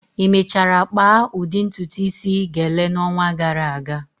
Ị mechara kpaa udi ntutu isi, "gele" n'ọnwa gara aga?